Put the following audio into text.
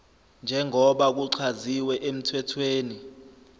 njengoba kuchaziwe emthethweni